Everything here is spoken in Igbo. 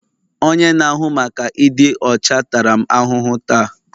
Onye na-ahụ maka ịdị ọcha tara m ahụhụ taa